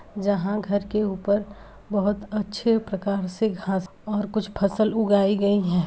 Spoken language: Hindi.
जहाँ घर के ऊपर बहुत अच्छे प्रकार से घास और कुछ फसल उगाई गई हैं।